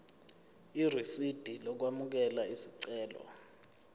irisidi lokwamukela isicelo